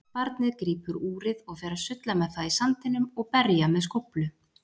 Barnið grípur úrið og fer að sulla með það í sandinum og berja með skóflu.